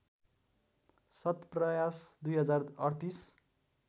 सत्प्रयास २०३८